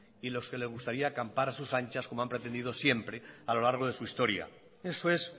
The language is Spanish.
y los que les gustaría acampar a sus anchas como han pretendido siempre a lo largo de su historia eso es